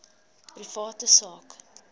private sak